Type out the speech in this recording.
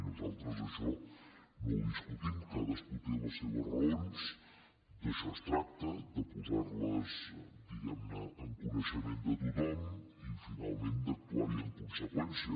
nosaltres això no ho discutim cadascú té les seves raons d’això es tracta de posar les diguem ne en coneixement de tothom i finalment d’actuar hi en conseqüència